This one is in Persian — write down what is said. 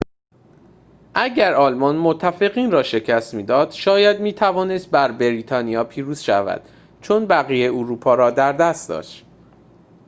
اگر آلمان متفقین را شکست می‌داد شاید می‌توانست بر بریتانیا پیروز شود چون بقیه اروپا را در دست داشت